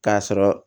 K'a sɔrɔ